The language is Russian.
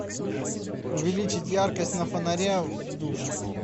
увеличить яркость на фонаре в душе